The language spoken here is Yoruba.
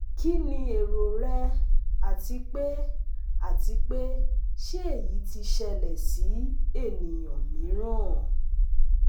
Kini ero rẹ ati pe ati pe se eyi ti ṣẹlẹ si ẹniyan miiran?